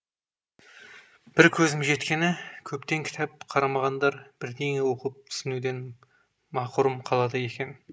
бір көзім жеткені көптен кітап қарамағандар бірдеңе оқып түсінуден мақұрым қалады екен